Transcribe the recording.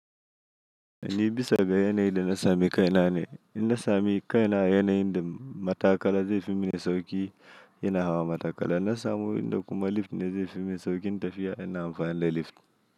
Ni bisa ga yanayin da na sami kaina ne. In na sami kaina yanayin da matakala zai fi mini sauƙi, ina hawa matakala. Na samu inda kuma lift ne zai fi sauƙin tafiya, ina amfani da lift.